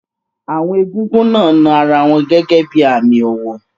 Àwọn egúngún náà na ara wọn gẹ́gẹ́ bí i àmì ọ̀wọ̀.